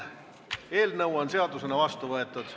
Eelnõu on seadusena vastu võetud.